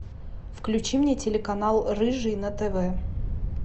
включи мне телеканал рыжий на тв